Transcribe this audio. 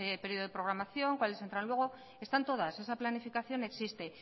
periodo de programación cuáles entran luego están todas esa planificación existe